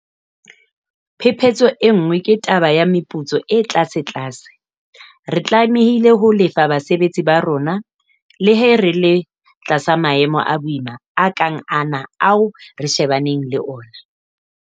Phephetso e nngwe ke taba ya meputso e tlasetlase - re tlamehile ho lefa basebetsi ba rona le ha re le tlasa maemo a boima a kang ana ao re shebaneng le ona.